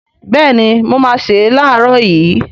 Béèni mo máá se lààrọ̀ yii